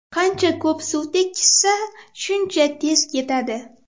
Qancha ko‘p suv tekkizsa, shuncha tez ketadi.